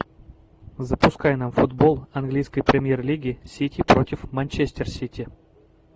запускай нам футбол английской премьер лиги сити против манчестер сити